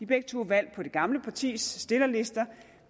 begge to valgt på det gamle partis stillerlister og